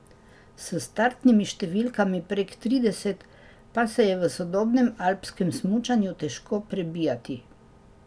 S startnimi številkami prek trideset pa se je v sodobnem alpskem smučanju težko prebijati.